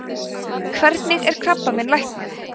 hvernig er krabbamein læknað